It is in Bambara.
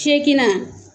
Fiyɛkina